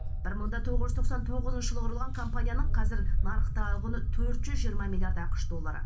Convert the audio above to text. бір мың да тоғыз жүз тоқсан тоғызыншы жылы құрылған компанияның қазір нарықтағы құны төрт жүз жиырма миллиард ақш доллары